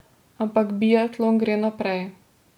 Ampak biatlon gre naprej.